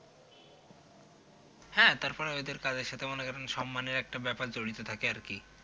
হ্যাঁ তারপরেও এদের কাজের সাথে মনে করেন সম্মানের একটা ব্যাপার জড়িত থাকে আর কি